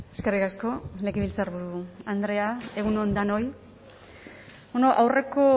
eskerrik asko legebiltzarburu andrea egun on denoi bueno aurreko